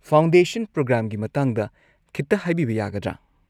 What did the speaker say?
Foundation ꯄ꯭ꯔꯣꯒ꯭ꯔꯥꯝꯒꯤ ꯃꯇꯥꯡꯗ ꯈꯤꯇ ꯍꯥꯏꯕꯤꯕ ꯌꯥꯒꯗ꯭ꯔꯥ?